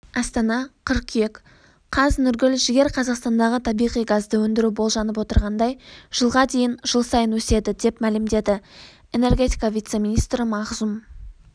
астана қыркүйек қаз нұргүл жігер қазақстандағы табиғи газды өндіру болжанып отырғандай жылға дейін жыл сайын өседі деп мәлімдеді энергетика вице-министрі мағзұм